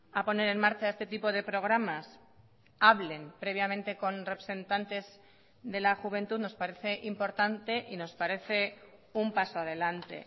a poner en marcha este tipo de programas hablen previamente con representantes de la juventud nos parece importante y nos parece un paso adelante